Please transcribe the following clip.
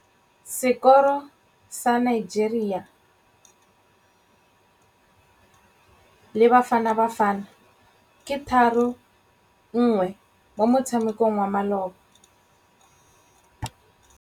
Sekôrô sa Nigeria le Bafanabafana ke 3-1 mo motshamekong wa malôba.